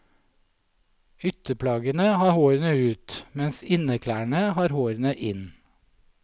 Ytterplaggene har hårene ut, mens innerklærene har hårene inn.